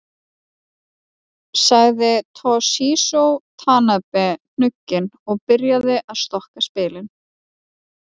Sagði Toshizo Tanabe hnugginn og byrjaði að stokka spilin.